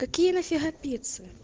какие нафига пиццы